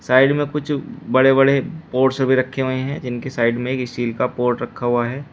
Side में कुछ बड़े बड़े पॉट्स भी रखे हुए हैं जिनके साइड में एक स्टील का पॉट रखा हुआ है।